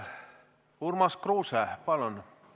Urmas Kruuse, palun!